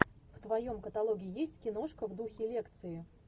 в твоем каталоге есть киношка в духе лекции